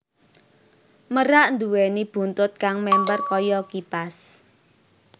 Merak nduwèni buntut kang mèmper kaya kipas